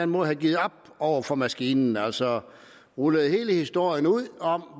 måde har givet op over for maskinen altså ruller hele historien ud om